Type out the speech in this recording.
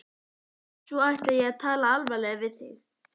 Svo ætla ég að tala alvarlega við þig.